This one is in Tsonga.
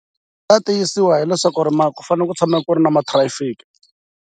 Byi ta tiyisiwa hileswaku ku tshama ku ri na ma-traffic.